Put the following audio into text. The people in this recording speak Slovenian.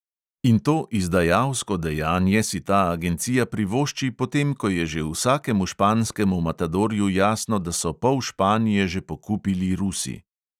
In to izdajalsko dejanje si ta agencija privošči, potem ko je že vsakemu španskemu matadorju jasno, da so pol španije že pokupili rusi.